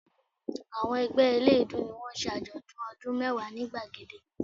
Àwọn ẹgbẹ́ eléèédú ni wọ́n ń ṣe àjọ̀dún ọdún mẹ́wàá ni gbàgede